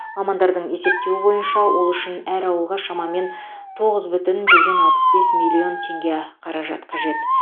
мамандардың есептеуі бойынша ол үшін әр ауылға шамамен тоғыз бүтін жүзден алпыс бес миллион теңге қаражат қажет